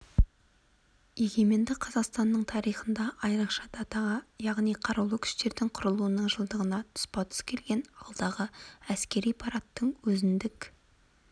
егеменді қазақстанның тарихында айрықша датаға яғни қарулы күштердің құрылуының жылдығына тұспа-тұс келген алдағы әскери парадтың өзіндік